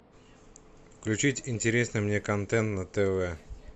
включить интересный мне контент на тв